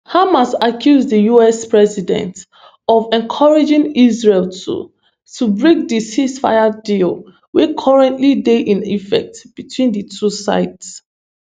hamas accuse di us president of encouraging israel to to break di ceasefire deal wey currently dey in effect between di two sides